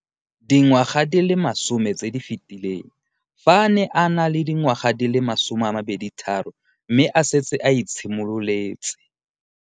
Dingwaga di le 10 tse di fetileng, fa a ne a le dingwaga di le 23 mme a setse a itshimoletse